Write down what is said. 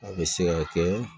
A bɛ se ka kɛ